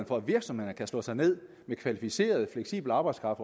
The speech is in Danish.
for at virksomhederne kan slå sig ned med kvalificeret fleksibel arbejdskraft